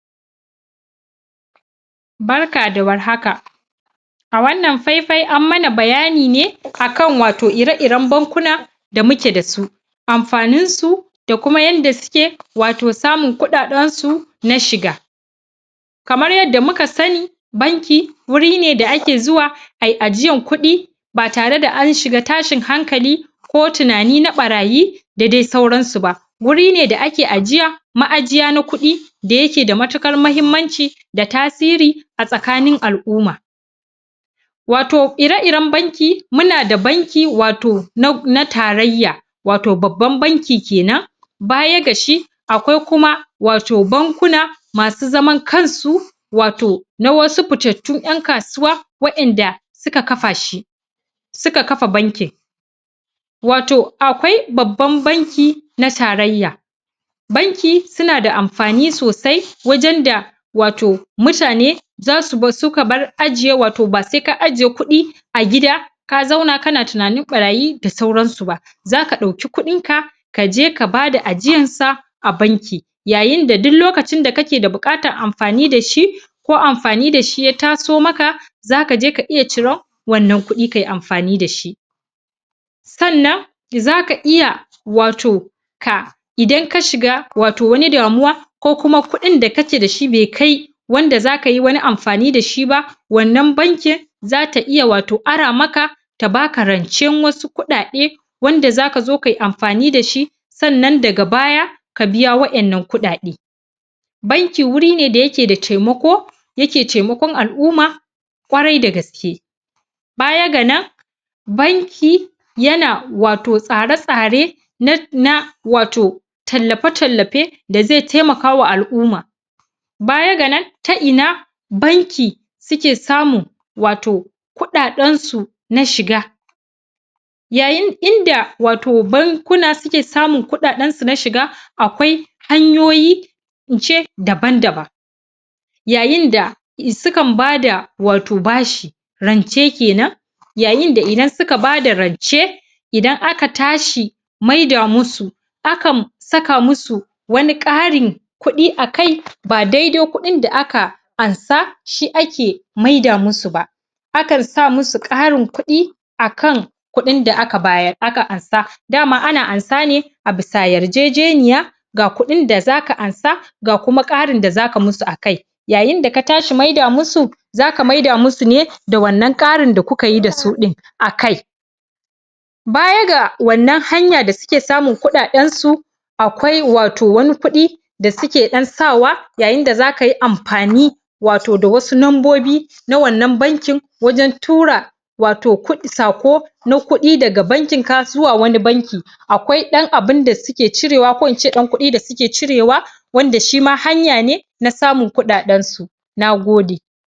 Barka da warhaka a wannan faifai an mana bayani ne wato a kan ire-iren bankuna da muke da su amfaninsu da kuma yadda suke samun kuɗaɗensu na shiga kamar yadda muka sani banki wuri ne da ake zuwa ai ajiyan kuɗi ba tare da an shiga tashin hankali ko tunani na ɓarayi da dai sauransu ba. wuri ne da ake ajiya ma'ajiya na kuɗi da yake da matuƙar muhimmanci da tasiri a tsakanin al'umma. wato ire-iren banki wato muna da banki na tarayya wato babban banki ke nan baya ga shi akwai kuma bankuna masu zaman kansu, wato na wasu fitattun ƴan kasuwa wɗanda suka kafa shi. suka kafa bankin wato akwai babban banki na tarayya banki suna da amfani sosai wajen da wato mutane za su bar wato ba sai ka ajiye kuɗia agida ka zauna kana tunanin ɓarayi da sauransu ba, za ka ɗauki kuɗinka ka je ka bada ajiyarsu a banki. yayin da duk lokacin da kake buƙatar amfani da shi ko amfani da shi ya taso maka za ka je ka iya cira wannan kuɗin kai amfani da shi sannan za ka iya wato ka idan ka shiga wani damuwa ka ko kuma kuɗin da kake da shi bai kai wanda za kai amfani da shi ba wannan bankin za ta iya wato arama maka ta ba ka rancen wasu kuɗaɗe wanda za ka je kai amfani da shi sannan daga baya ka biya wannan kuɗaɗe banki wuri ne da yake da taimako yake taimakon al'umma ƙwarai da gaske baya ga nan banki yana wato tsare-tsare na na wato tallafe-tallafe da zai taimaka ma al'umma baya ga nan ta ina banki suke samun wato kuɗaɗensu na shiga ya yinda bankuna suke samun kuɗaɗensu na shiga akwai hanyoyi in ce daban-daban yayinda suka ba da ba shi wato rance ke nan yayin da idan suka bada rance idan aka tashi maida musu akan saka musu wani ƙarin kuɗi a akai ba dai-dai kuɗin da aka ansa shi ake maida musu ba. akan sa musu ƙarin kuɗi a kan kuɗin da aka ba su aka amsa dama na amsa ne a bisa yarjejeniya ga kuɗin da za ka amsa ga kuma ƙarin da za ka musu a kai yayin da ka tashi maida musu za ka maida musu ne da wannan ƙarin da kuka yi da su ɗin a kai Baya da wannan hanya da suke samun kuɗaɗensu akwai wato wani kuɗi da suke ɗan sawa yayin da za ka yi amfani wato da wasu membobi na wannan bankin wajen tura wato ku wato saƙo na kuɗi daga bankinka zuwa wani bankin akwai ɗan abun da suke cirewa ko in ce ɗan kuɗi da suke cirewa wanda shi ma hanya na samun kuɗaɗensu na gode.